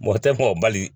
Mɔgɔ tɛ kumabali